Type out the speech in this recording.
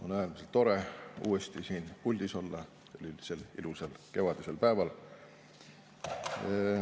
On äärmiselt tore uuesti siin puldis olla sel ilusal kevadisel päeval.